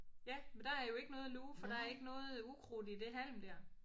Ja men der er jo ikke noget at luge for der er ikke noget ukrudt i det halm der